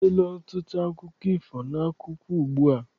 E deela ọtụtụ akụkọ ifo n'akwụkwọ ugbua.